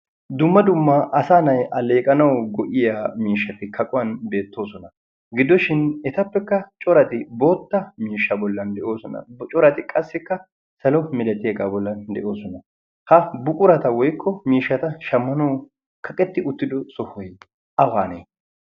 dumma dummaa asa na'i alleeqanau go''iya miishshati kaquwan beettoosona gidoshin etappekka corati bootta miishsha bollan de'oosona corati qassikka salo milatiaegaa bollan de'oosona ha buqurata woykko miishshata shammanawu kaqetti uttido sohoy awaanee